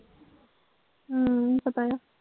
ਹਮ